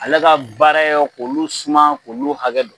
Ale ka baara ye k'olu suman k'olu suman k'olu hakɛ don